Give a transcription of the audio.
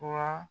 Wa